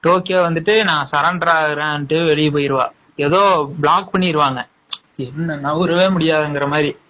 Tokyo வந்துட்டு நான் surrender ஆகுறேன் வெளிய போயிருவா ஏதோ block பண்ணிருவாங்க என்ன நவுறவே முடியாதமாதிரி